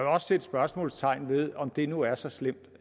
også sætte spørgsmålstegn ved om det nu er så slemt